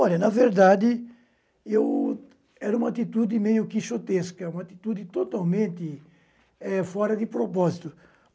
Olha, na verdade, eu era uma atitude meio xotesca, uma atitude totalmente eh fora de propósito.